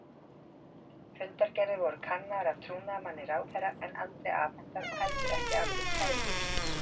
Fundargerðir voru kannaðar af trúnaðarmanni ráðherra en aldrei afhentar og heldur ekki afrit kærubréfsins.